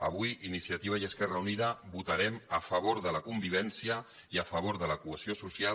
avui iniciativa i esquerra unida votarem a favor de la convivència i a favor de la cohesió social